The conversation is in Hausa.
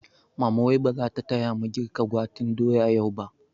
Mama wai bazata taya mu girka gwaten doya yau ba?